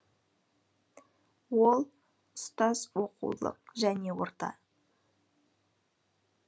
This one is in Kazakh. ол ұстаз оқулық және орта